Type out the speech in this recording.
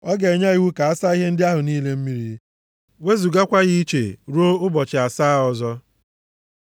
Ọ ga-enye iwu ka a saa ihe ndị ahụ niile mmiri, wezugakwa ya iche ruo ụbọchị asaa ọzọ.